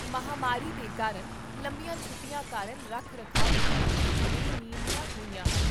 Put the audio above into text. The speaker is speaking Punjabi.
ਮਹਾਂਮਾਰੀ ਦੇ ਕਾਰਨ ਲੰਬੀਆਂ ਛੁੱਟੀਆਂ ਕਾਰਨ ਰੱਖ ਰਖਾਅ ਵਿੱਚ ਕੁੱਝ ਬੇਨਿਯਮੀਆਂ ਹੋਈਆਂ ਹਨ